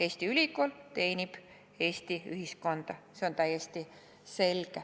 Eesti ülikool teenib Eesti ühiskonda, see on täiesti selge.